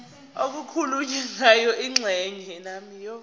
okukhulunywe ngayo kwingxenye